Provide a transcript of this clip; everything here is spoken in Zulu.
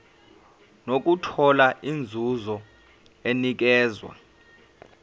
nokuthola inzuzo enikezwa